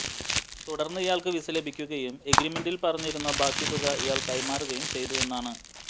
തുടർന്ന് ഇയാൾക്ക് വിസ ലഭിക്കുകയും എഗ്രിമെന്റിൽ പറഞ്ഞിരുന്ന ബാക്കി തുക ഇയാൾ കൈമാറുകയും ചെയ്തുവെന്നാണ്